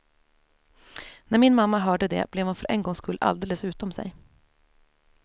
När min mamma hörde det blev hon för en gångs skull alldeles utom sig.